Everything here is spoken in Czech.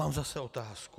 Mám zase otázku.